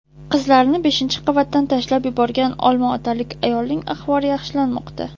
Qizlarini beshinchi qavatdan tashlab yuborgan olmaotalik ayolning ahvoli yaxshilanmoqda.